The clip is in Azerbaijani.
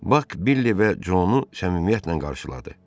Bak Billi və Conu səmimiyyətlə qarşıladı.